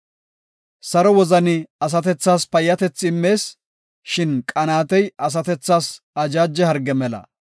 Saro wozani asatethas payyatethi immees; shin qanaatey asatethas ajaaje harge mela.